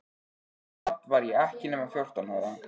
Samt var ég ekki nema fjórtán ára.